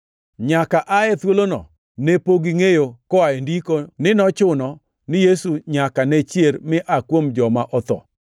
(Nyaka ae thuolono ne pok gingʼeyo, koa e Ndiko, ni nochuno ni Yesu nyaka ne chier mi aa kuom joma otho.)